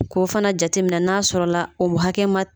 K'o fana jateminɛ na n'a sɔrɔla o hakɛ ma